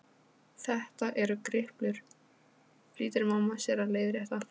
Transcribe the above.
Þetta eru griplur, flýtir mamma sér að leiðrétta.